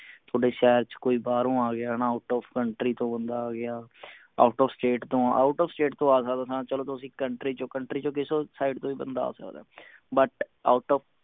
ਥੋਡੇ ਸ਼ਹਿਰ ਚ ਕੋਈ ਬਾਹਰੋਂ ਆ ਗਿਆ out of country ਕੋਈ ਬੰਦਾ ਆ ਗਿਆ out of state ਤੋਂ out of state ਤੋਂ ਚਲੋ ਆ ਸਕਦਾ ਹਾਂ ਚਲੋ ਤੁਸੀਂ country ਚੋ country ਚੋ side ਤੋਂ ਵੀ ਬੰਦਾ ਆ ਸਕਦਾ but out of